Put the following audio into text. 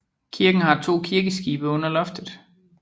Kirken har to kirkeskibe under loftet